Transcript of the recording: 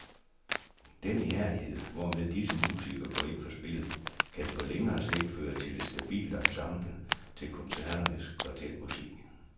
Den ihærdighed, hvormed disse musikere går ind for spillet, kan på længere sigt føre til et stabilt ensemble til koncerternes kvartetmusik.